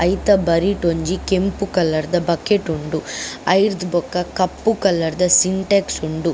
ಐತ ಬರಿಟ್ ಒಂಜಿ ಕೆಂಪು ಕಲರ್ದ ಬಕೆಟ್ ಉಂಡು ಅವೆರ್ದ್ ಬೊಕ ಕಪ್ಪು ಕಲರ್ದ ಸಿಂಟೇಕ್ಸ್ ಉಂಡು.